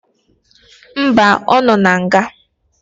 Mba, ọ nọ na nga